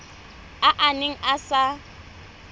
a a neng a sa